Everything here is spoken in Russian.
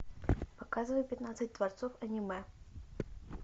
показывай пятнадцать творцов аниме